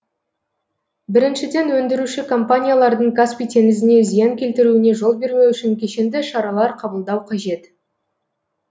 біріншіден өндіруші компаниялардың каспий теңізіне зиян келтіруіне жол бермеу үшін кешенді шаралар қабылдау қажет